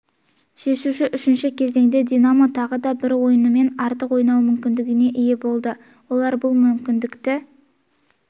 шешуші үшінші кезеңде динамо тағы да бір ойыншымен артық ойнау мүмкіндігіне ие болды олар бұл мүмкіндікті